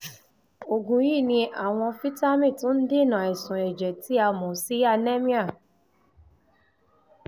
oògùn yìí ní àwọn fítámì tó ń dènà àìsàn ẹ̀jẹ̀ tí a mọ̀ sí anemia